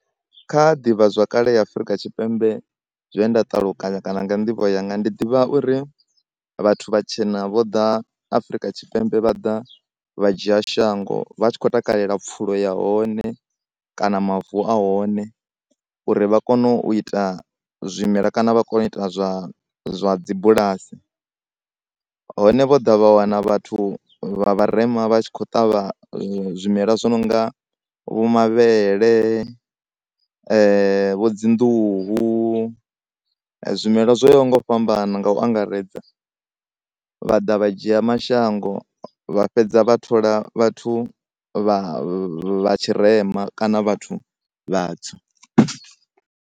Kha divhazwakale ya Afrika Tshipembe zwe nda ṱalukanya kana nga nḓivho yanga ndi ḓivha uri vhathu vhatshena vho ḓa Afrika Tshipembe vha ḓa vha dzhia shango vha tshi kho takalela pfulo ya hone kana mavu ahone uri vha kone u ita zwimela kana vha kone u ita zwa dzibulasi. Hone vho ḓa vha wana vhathu vha vharema vha tshi kho ṱavha zwimela zwi nonga vho mavhele, vho dzi nḓuhu, zwimela zwo ya ho nga u fhambana nga u angaredza, vha ḓa vha dzhia mashango vha fhedza vha thola vhathu vha vhatshirema kana vhathu vhatsu.